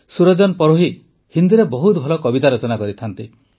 ସୁରଜନ ପରୋହି ହିନ୍ଦୀରେ ବହୁତ ଭଲ କବିତା ରଚନା କରନ୍ତି